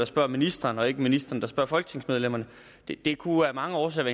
spørger ministeren og ikke ministeren der spørger folketingsmedlemmerne det det kunne af mange årsager